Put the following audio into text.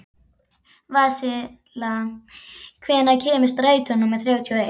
Vasilia, hvenær kemur strætó númer þrjátíu og eitt?